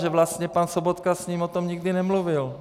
Že vlastně pan Sobotka s ním o tom nikdy nemluvil.